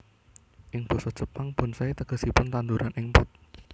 Ing basa Jepang bonsai tegesipun tandhuran ing pot